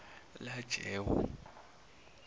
lajewo